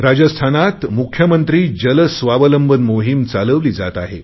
राजस्थानात मुख्यमंत्री जलस्वावलंबन मोहिम चालवली जात आहे